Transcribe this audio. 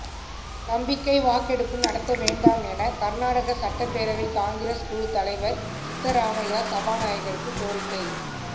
நம்பிக்கை வாக்கெடுப்பு நடத்தவேண்டாம் என கர்நாடக சட்டப்பேரவைக் காங்கிரஸ் குழுத் தலைவர் சித்தராமையா சபாநாயகருக்குக் கோரிக்கை